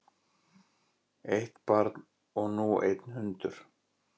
Eitt barn og nú einn hundur